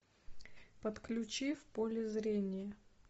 подключи в поле зрения